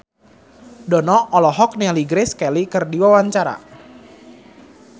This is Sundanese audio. Dono olohok ningali Grace Kelly keur diwawancara